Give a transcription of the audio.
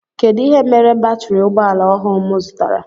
Kedụ ihe mere batiri ụgbọala ọhụụ m zụtara?